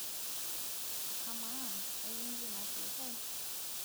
ama ekindim atuutai?